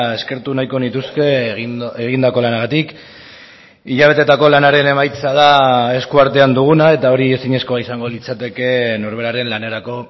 eskertu nahiko nituzke egindako lanagatik hilabeteetako lanaren emaitza da eskuartean duguna eta hori ezinezkoa izango litzateke norberaren lanerako